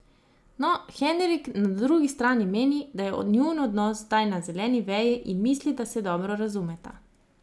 No, Henrik na drugi strani meni, da je njun odnos zdaj na zeleni veji in misli, da se dobro razumeta.